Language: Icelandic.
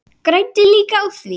Græddi líka á því.